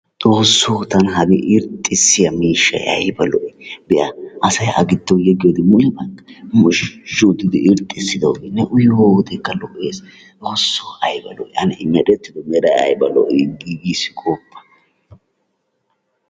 Xoosso tana hagee irxxissiyaa miishshay ayba lo"ii! be'a asay a gidon yeggiyoode mule moozhzhu oottidi irxxisidooge ne uyiyoo wodekka lo"ees. Xoossoo i ayba lo"ii i merettido meray ayba lo"ii! giigiis gooppa.